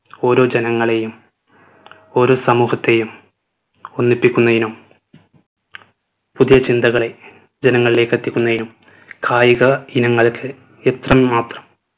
ഓരോ ജനങ്ങളെയും ഓരോ സമൂഹത്തെയും ഒന്നിപ്പിക്കുന്നതിനും പുതിയ ചിന്തകളെ ജനങ്ങളിലേക്ക് എത്തിക്കുന്നതിനും കായിക ഇനങ്ങൾക്ക് ഇത്ര മാത്രം